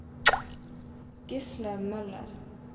Gisle Møller